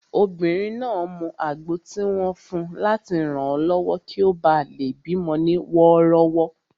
Obìnrin náà mu àgbo tí wọ́n fun láti ranlọwọ kí ó bá lè bí mọ ní wọ́rọ́wọ́